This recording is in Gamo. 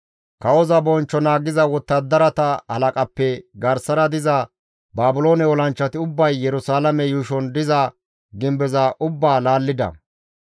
Kawoza bonchcho naagiza wottadarata halaqappe garsara diza Baabiloone olanchchati ubbay Yerusalaame yuushon diza gimbeza ubbaa laallida.